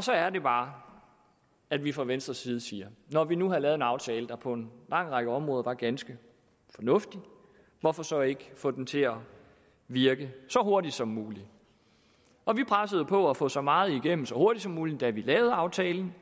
så er det bare at vi fra venstres side siger at når vi nu har lavet en aftale der på en lang række områder er ganske fornuftig hvorfor så ikke få den til at virke så hurtigt som muligt og vi pressede på for at få så meget igennem så hurtigt som muligt da vi lavede aftalen